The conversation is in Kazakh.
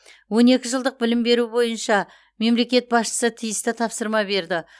он екі жылдық білім беру бойынша мемлекет басшысы тиісті тапсырма берді